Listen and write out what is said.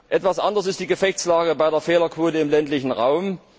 Etwas anders ist die Gefechtslage bei der Fehlerquote im ländlichen Raum.